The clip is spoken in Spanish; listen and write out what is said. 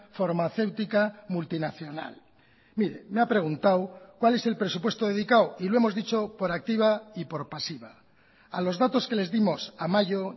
farmacéutica multinacional mire me ha preguntado cuál es el presupuesto dedicado y lo hemos dicho por activa y por pasiva a los datos que les dimos a mayo